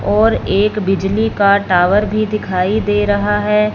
और एक बिजली का टावर भी दिखाई दे रहा है।